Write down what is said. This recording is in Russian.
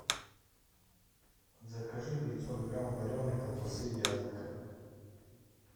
закажи пятьсот грамм вареной колбасы вязанка